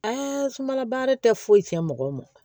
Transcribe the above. sumana baara tɛ foyi tiɲɛ mɔgɔ ma